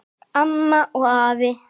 Amma og afi.